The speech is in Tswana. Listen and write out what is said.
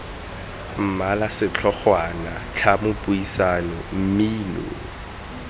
mmala setlhogwana tlhamo puisano mmino